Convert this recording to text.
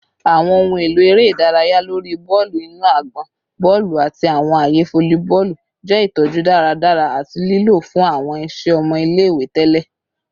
Awọn ohun elo ere idaraya lori bọọlu inu agbọn, bọọlu, ati awọn aaye folliboolu jẹ itọju daradara ati lilo fun awọn iṣẹ ọmọ ile-iwe tẹlẹ